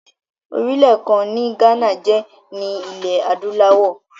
Orílẹ̀ kan ni Ghana jẹ́ ní ilé adúláwọ̀.